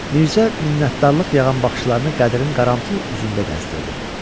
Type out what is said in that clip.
Mirzə minnətdarlıq yağan baxışlarını Qədirin qarantılı üzündə gəzdirdi.